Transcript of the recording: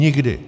Nikdy!